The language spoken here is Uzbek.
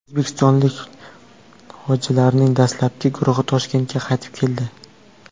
O‘zbekistonlik hojilarning dastlabki guruhi Toshkentga qaytib keldi.